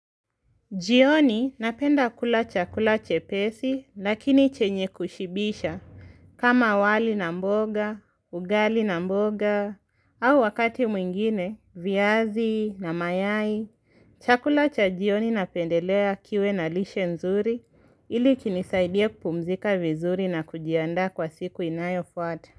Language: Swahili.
Jioni napenda kula chakula chepesi, lakini chenye kushibisha. Kama wali na mboga, ugali na mboga, au wakati mwingine, viazi, na mayai, chakula cha jioni napendelea kiwe na lishe nzuri, ili kinisaidie kupumzika vizuri na kujiandaa kwa siku inayofuata.